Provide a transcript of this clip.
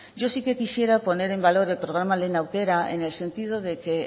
yo sí que quisiera poner en valor el programa lehen aukera en el sentido de que